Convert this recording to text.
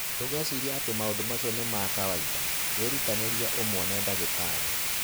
Ndũgecirie atĩ maũndũ macio nĩ ma kawaida; wĩrutanĩrie umwone ndagĩtarĩ.